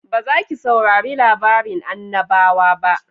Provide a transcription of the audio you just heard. Ba za ki saurari labarin annabawa ba?